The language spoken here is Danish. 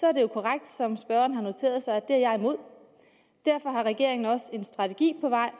er det jo korrekt som spørgeren har noteret sig at det er jeg imod derfor har regeringen også en strategi på vej